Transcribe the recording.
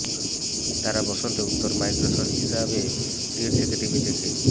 তারা বসন্তে উত্তর মাইগ্রেশন হিসাবে তীরে থেকে তিমি দেখে